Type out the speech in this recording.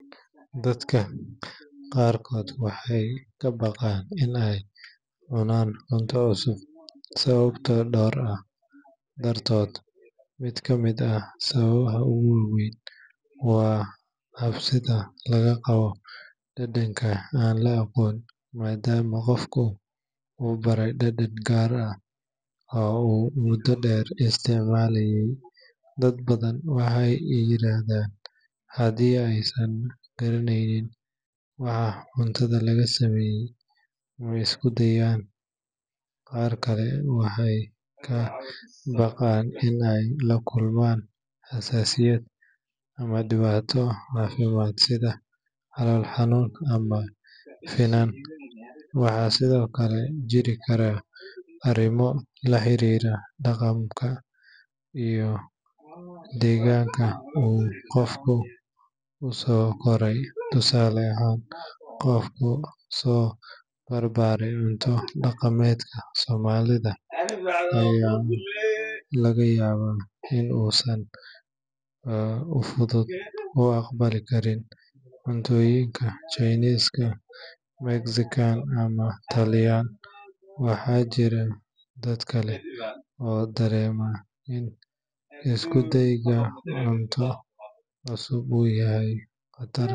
Dadka qaarkood waxay ka baqaan in ay cunaan cunto cusub sababo dhowr ah dartood. Mid ka mid ah sababaha ugu waa weyn waa cabsida laga qabo dhadhanka aan la aqoon, maadaama qofku u baray dhadhan gaar ah oo uu muddo dheer isticmaalayay. Dad badan waxay yiraahdaan haddii aysan garanayn waxa cuntada laga sameeyay, ma isku dayaan. Qaar kale waxay ka baqaan in ay la kulmaan xasaasiyad ama dhibaato caafimaad sida calool xanuun ama finan. Waxaa sidoo kale jiri kara arrimo la xiriira dhaqanka iyo deegaanka uu qofku ku soo koray, tusaale ahaan qof ku soo barbaaray cunto dhaqameedka Soomaalida ayaa laga yaabaa in uusan si fudud u aqbali karin cunnooyinka Chinese, Mexican ama Italian. Waxaa jira dad kale oo dareema in isku dayga cunto cusub uu yahay qatar.